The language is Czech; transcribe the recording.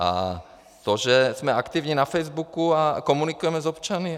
A to, že jsme aktivní na Facebooku a komunikujeme s občany?